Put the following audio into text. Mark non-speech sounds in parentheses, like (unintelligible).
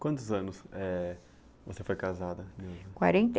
Quantos anos você foi casada? (unintelligible) quarenta e (unintelligible)